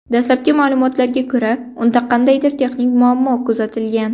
Dastlabki ma’lumotga ko‘ra, unda qandaydir texnik muammo kuzatilgan.